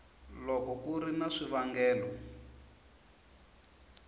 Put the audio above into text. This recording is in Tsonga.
loko ku ri na swivangelo